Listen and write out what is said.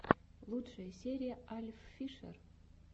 лучшая серия альффишер